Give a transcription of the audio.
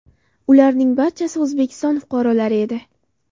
Ularning barchasi O‘zbekiston fuqarolari edi.